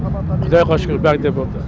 құдайға шүкір бәрі де болды